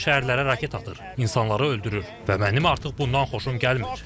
Amma o şəhərlərə raket atır, insanları öldürür və mənim artıq bundan xoşum gəlmir.